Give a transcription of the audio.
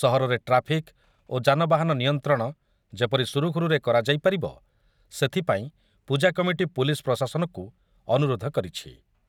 ସହରରେ ଟ୍ରାଫିକ୍ ଓ ଯାନବାହାନ ନିୟନ୍ତ୍ରଣ ଯେପରି ସୁରୁଖୁରୁରେ କରାଯାଇ ପାରିବ, ସେଥିପାଇଁ ପୂଜାକମିଟି ପୁଲିସ୍ ପ୍ରଶାସନକୁ ଅନୁରୋଧ କରିଛି ।